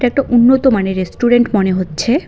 একটা উন্নত মানের রেস্টুরেন্ট মনে হচ্ছে।